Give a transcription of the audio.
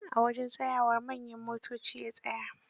A wajen tsayawar manyan motoci ya tsaya